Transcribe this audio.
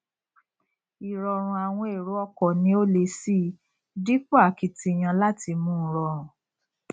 ìrọrùn àwọn èrò ọkọ ní ó le síi dípò akitiyan láti mú u rọrùn